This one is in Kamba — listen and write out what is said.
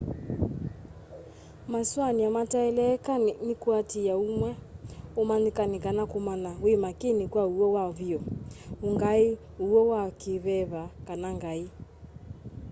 masũanĩa mataeleeka nĩ kũatĩĩa ũũmwe ũmanyĩkani kana kũmanya wi makini kwa ũw'o wa vyũ ũ'ngai ũw'o wa kĩĩveva kana ngai